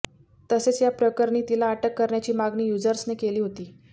तसेच या प्रकरणी तिला अटक करण्याची मागणी युझर्सने केली होती